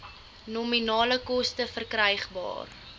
nominale koste verkrygbaar